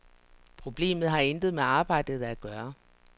Problemet har intet med arbejdet at gøre.